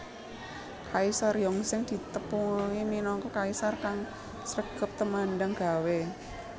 Kaisar Yongzheng ditepungi minangka kaisar kang sregep temandang gawé